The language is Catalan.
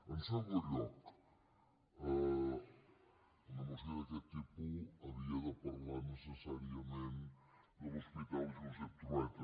en segon lloc una moció d’aquest tipus havia de parlar necessàriament de l’hospital josep trueta